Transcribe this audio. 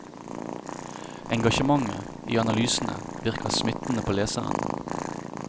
Engasjementet i analysene virker smittende på leseren.